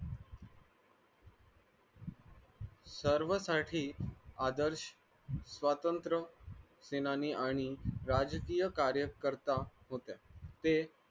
सर्व साठी आदर्श स्वातंत्र्य सेनानी आणि राजकीय कार्यकर्ता होत्या ते